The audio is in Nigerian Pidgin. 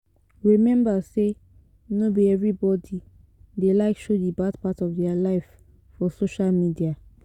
Remember sey no be everybody dey like show the bad part of their life for social media